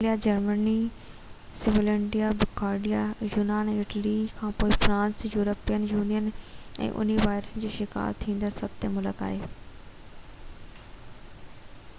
Austria Germany Slovenia Bulgaria يونان ۽ Italy کان پوءِ فرانس يورپين يونين ۾ انهي وائرس جو شڪار ٿيندڙ ستون ملڪ آهي